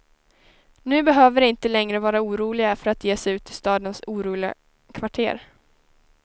Nu behöver de inte längre vara oroliga för att ge sig ut i stadens oroliga kvarter.